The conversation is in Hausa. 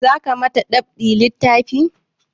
Za ka ma ta dab'i littafi?